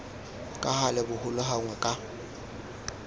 ka gale bogolo gangwe ka